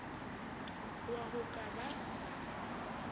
hoa ho a ka ba